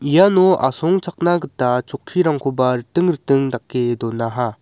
iano asongchakna gita chokkirangkoba riting riting dake donaha.